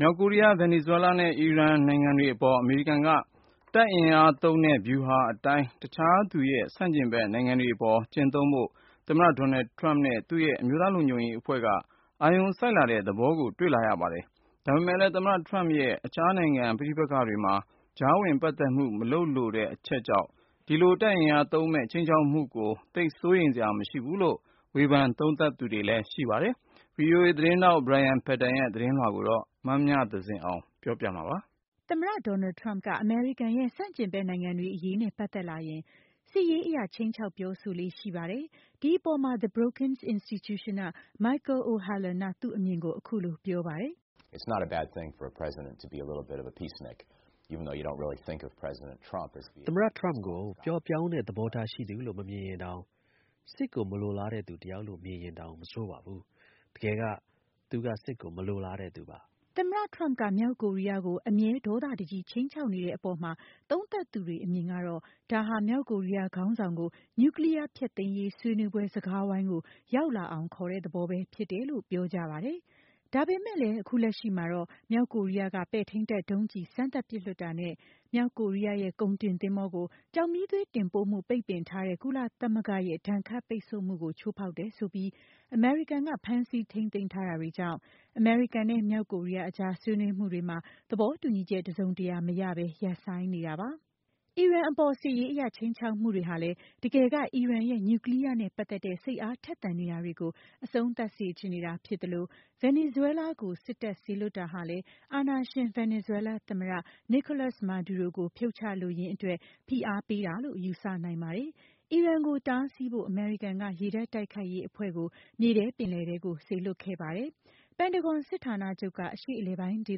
မြောက်ကိုရီးယား၊ ဗင်နီဇွဲလားနဲ့ အီရန်နိုင်ငံတွေအပေါ် အမေရိကန်က တပ်အင်အားသုံးတဲ့ ဗျူဟာအတိုင်း သူ့ရဲ့တခြား ဆန့်ကျင်ဘက် နိုင်ငံတွေအပေါ် ကျင့်သုံးဖို့ သမ္မတ Donald Trump နဲ့ သူ့ရဲ့ အမျိုးသားလုံခြုံရေးအဖွဲ့က အာရုံစိုက်လာတဲ့ သဘောကို တွေ့လာရပါတယ်။ ဒါပေမဲ့လည်း သမ္မတ Trump ရဲ့တခြားနိုင်ငံ ပဋိပက္ခတွေမှာ ကြားဝင်ပတ်သက်မှု မလုပ်လိုတဲ့ အချက်ကြောင့် ဒီလို တပ်အင်အားသုံးမယ့် ခြိမ်းခြောက်မှု တွေကိုသိပ်စိုးရိမ်စရာမရှိဘူးလို့ ဝေဖန်သုံးသပ်သူတွေက ပြောပါတယ်။ VOA သတင်းထောက် Brian Padden ရဲ့ သတင်းလွှာကို မမြသဇင်အောင်က ပြောပြပေးပါမယ်။ သမ္မတ Trump က အမေရိကန်ရဲ့ ဆန့်ကျင်ဘက် နိုင်ငံတွေအရေးနဲ့ ပတ်သက်လာရင် စစ်ရေးအရ ခြိမ်းခြောက်ပြောဆိုလေ့ရှိပါတယ်။ ဒီအပေါ်မှာ The Brookings Institution က Michael O'Hanlon က သူ့အမြင်ကို အခုလိုပြောပါတယ်။ “သမ္မတ Trump ကို ပျော့ပျောင်းတဲ့ သဘောထားရှိသူလို့ မမြင်ရင်တောင် စစ်ကိုမလိုလားတဲ့သူ တယောက်လို့ မြင်ရင်တောင် မဆိုးပါဘူး။ တကယ်က သူက စစ်ကို မလိုလားတဲ့သူပါ။” သမ္မတ Trump က မြောက်ကိုရီးယားကို အမြဲဒေါသတကြီး ခြိမ်းခြောက်နေတဲ့အပေါ်မှာ သုံးသပ်သူတွေ အမြင်ကတော့ ဒါဟာ မြောက် ကိုရီးယား ခေါင်းဆောင်ကို နြူကလီယားဖျက်သိမ်းရေး ဆွေးနွေးပွဲ စကားဝိုင်းကို ရောက်လာအောင် ခေါ်တဲ့သဘောပဲဖြစ်တယ်လို့ ပြောကြပါတယ်။ ဒါပေမဲ့လည်း အခုလက်ရှိမှာတော့ မြောက်ကိုရီးယားက ပဲ့ထိန်းတပ် ဒုံးကျည်စမ်းသပ်ပစ်လွှတ်တာနဲ့ မြောက်ကိုရီးယားရဲ့ ကုန်တင်သင်္ဘောကို ကျောက်မီးသွေး တင်ပို့မှု ပိတ်ပင်ထားတဲ့ ကုလသမဂ္ဂရဲ့ ဒဏ်ခတ်ပိတ်ဆို့မှုကို ချိုးဖောက်တယ်ဆိုပြီး အမေရိကန်က ဖမ်းဆီးထိန်းသိမ်းထားတာတွေကြောင့် အမေရိကန်နဲ့ မြောက်ကိုရီးယားကြား ဆွေးနွေးမှုတွေမှာ သဘောတူညီချက်တစုံတရာမရဘဲ ရပ်ဆိုင်းနေပါတယ်။ အီရန်အပေါ် စစ်ရေးအရ ခြိမ်းခြောက်မှုတွေဟာလည်း တကယ်က အီရန်ရဲ့ နြူကလီယားနဲ့ ပတ်သက်တဲ့ စိတ်အားထက်သန်နေတာတွေကို အဆုံးသတ်စေချင်တာဖြစ်သလို ဗင်နီဇွဲလားကို စစ်တပ်စေလွှတ်တာဟာလည်းအာဏာရှင် ဗင်နီဇွဲလားသမ္မတ Nicolas Maduro ကို ဖြုတ်ချလိုရင်းအတွက် ဖိအားပေးတာလို့ ယူဆနိုင်ပါတယ်။ အီရန်ကိုတားဆီးဖို့ အမေရိကန်က ရေတပ်တိုက်ခိုက်ရေးအဖွဲ့ကို မြေထဲပင်လယ်ထဲကို စေလွှတ်ခဲ့ပါတယ်။ ပင်တဂွန်စစ်ဌာနချုပ်က အရှေ့အလယ်ပိုင်းဒေ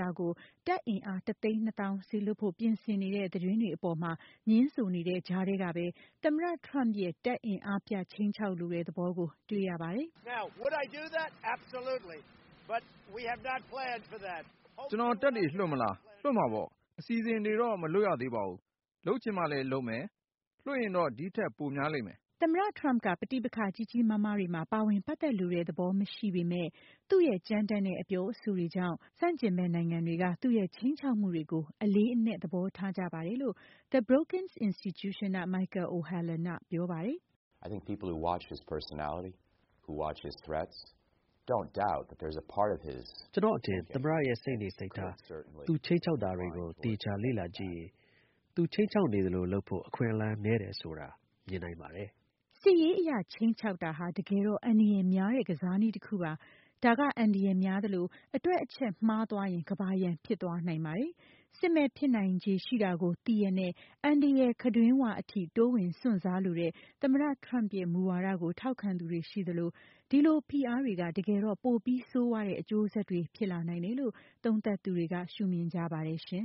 သကို တပ်အင်အားတသိန်း နှစ်သောင်း စေလွှတ်ဖို့ပြင်ဆင်နေတဲ့ သတင်းတွေအပေါ် ငြင်းဆိုနေတဲ့ကြားမှာပဲ သမ္မတ Trump ရဲ့တပ်အင်အားပြ ခြိမ်းခြောက်လိုတဲ့သဘောကို တွေ့ရပါတယ်။ “ကျနော်- တပ်တွေလွှတ်မလား။ လွှတ်မှာပေါ့။ အစီအစဉ်တွေတော့ မလုပ်ရသေးဘူး။ လုပ်ချင်မှလည်းလုပ်မယ်။ လွှတ်ရင်တော့ ဒီထက်ပို များလိမ့်မယ်။” သမ္မတ Trump က ပဋိပက္ခ ကြီးကြီးမားမားတွေမှာ ပါဝင်ပတ်သက်လိုတဲ့ သဘောမရှိပေမဲ့ သူ့ရဲ့ ကြမ်းတမ်းတဲ့ အပြောအဆိုတွေကြောင့် သူ့ရဲ့ ခြိမ်းခြောက်မှုတွေကို ဆန့်ကျင်ဘက်နိုင်ငံတွေက အလေးအနက် သဘောထားကြပါတယ်လို့ The Brookings Institution က Michael O'Hanlon က ပြောပါတယ်။ “ကျနော့်အထင် သမ္မတရဲ့ စိတ်နေစိတ်ထား၊ သူခြိမ်းခြောက်တာတွေကို သေချာလေ့လာကြည့် ရင် သူခြိမ်းခြောက်နေသလို လုပ်ဖို့ အခွင့်အလမ်းနည်းတယ်ဆိုတာ မြင်နိုင်ပါတယ်။” စစ်ရေးအရ ခြိမ်းခြောက်တာ တကယ်တော့ အန္တရာယ်များတဲ့ ကစားနည်းတခုပါ။ ဒါက အန္တရာယ်များသလို အတွက်အချက်မှားသွားရင် ကမ္ဘာရန် ဖြစ်သွားနိုင်ပါတယ်။ စစ်မက်ဖြစ်နိုင်ချေကို သိရက်နဲ့ အန္တရာယ် ခံတွင်း၀ အထိတိုးဝင်စွန့်စားလိုတဲ့ သမ္မတ Trump ရဲ့ မူဝါဒကို ထောက်ခံသူတွေရှိသလို ဒီလိုဖိအားတွေက တကယ်တော့ ပိုပြီးဆိုးဝါးတဲ့ အကျိုးဆက်တွေဖြစ်လာနိုင်တယ်လို့ သုံးသပ်သူတွေက ရှုမင်ကြပါတယ်ရှင